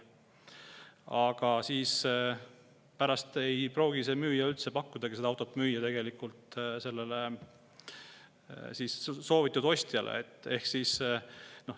Aga pärast ei pruugi see müüja üldse pakkudagi seda autot tegelikult sellele ostjale.